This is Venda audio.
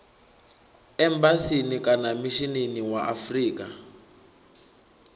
embasini kana mishinini wa afrika